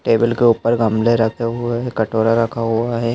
Table के ऊपर गमले रखे हुए है कटोरा रखा हुआ है।